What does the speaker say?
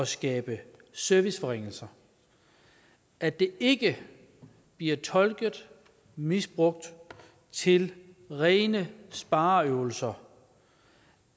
skabe serviceforringelser at det ikke bliver tolket og misbrugt til rene spareøvelser og